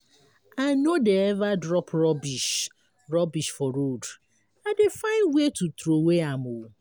I no dey eva drop rubbish frubbish for road, I dey find where to troway am.